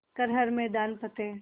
कर हर मैदान फ़तेह